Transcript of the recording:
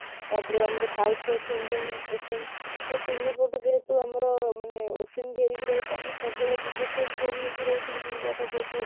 ତା ପରେ ଆମର south ରେ ଅଛି Indian ocean, ତ ତିନି foot ଯେହେତୁ ଆମର ମାନେ ocean ଘେରିକି ରହିଛି ଆମେ ସବୁବେଳେ disaster prone ହେଇକି ରହୁଛେ ଆମ ଇଣ୍ଡିଆଟା ଯେହେତୁ